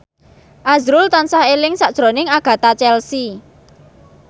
azrul tansah eling sakjroning Agatha Chelsea